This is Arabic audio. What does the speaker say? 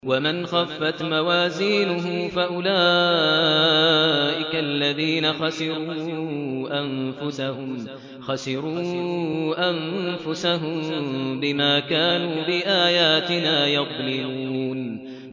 وَمَنْ خَفَّتْ مَوَازِينُهُ فَأُولَٰئِكَ الَّذِينَ خَسِرُوا أَنفُسَهُم بِمَا كَانُوا بِآيَاتِنَا يَظْلِمُونَ